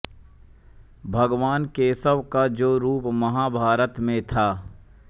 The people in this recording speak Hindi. भगवान केशव का जो रूप महाभारत में था